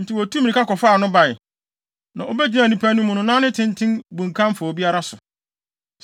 Enti wotuu mmirika kɔfaa no bae. Na obegyinaa nnipa no mu no na ne tenten bunkam fa obiara so.